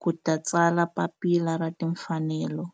ku ta tsala Papila ra Tinfanelo.